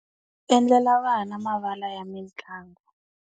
Endlela vana mavala ya mitlangu.